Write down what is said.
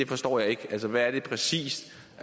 forstår jeg ikke hvad er det præcis